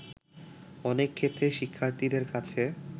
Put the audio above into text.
অনেক ক্ষেত্রেই শিক্ষার্থীদের কাছে